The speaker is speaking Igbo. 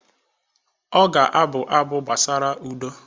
Ọ ga-abụ abụ gbasara udo